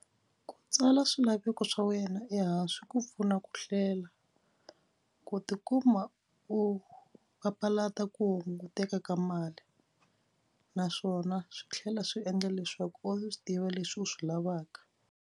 Ku tsala swilaveko swa wena ehansi ku pfuna ku hlela ku tikuma u papalata ku hunguteka ka mali naswona swi tlhela swi endla leswaku u swi tiva leswi u swi lavaka.